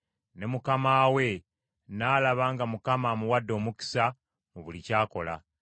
Ne mukama we n’alaba nga Mukama amuwadde omukisa mu buli ky’akola.